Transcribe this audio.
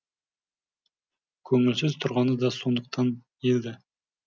көңілсіз тұрғаны да сондықтан еді